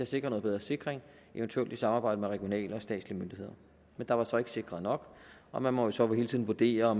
sikre noget bedre sikring eventuelt i samarbejde med regionale og statslige myndigheder men der var så ikke sikret nok og man må så hele tiden vurdere